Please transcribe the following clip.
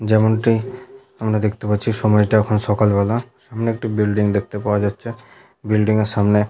যেমনটি আমরা দেখতে পাচ্ছি সময়টা এখন সকাল বেলা সামনে একটি বিল্ডিং দেখতে পাওয়া যাচ্ছে বিল্ডিং -এর সামনে--